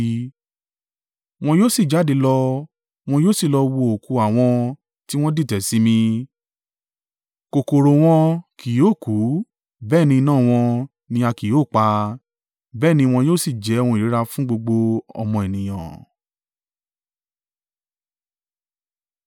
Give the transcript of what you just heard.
“Wọn yóò sì jáde lọ wọn yóò sì lọ wo òkú àwọn tí wọ́n dìtẹ̀ sí mi; kòkòrò wọn kì yóò kú, bẹ́ẹ̀ ni iná wọn ni a kì yóò pa, bẹ́ẹ̀ ni wọn yóò sì jẹ́ ohun ìríra fún gbogbo ọmọ ènìyàn.”